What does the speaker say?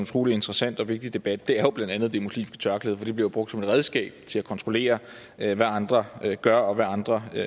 utrolig interessant og vigtig debat er jo blandt andet det muslimske tørklæde det bliver brugt som et redskab til at kontrollere hvad andre gør og hvad andre